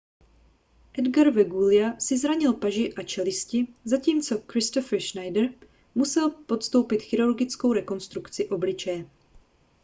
edgar veguilla si zranil paži a čelisti zatímco kristoffer schneider musel podstoupit chirurgickou rekonstrukci obličeje